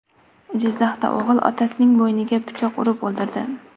Jizzaxda o‘g‘il otasining bo‘yniga pichoq urib o‘ldirdi.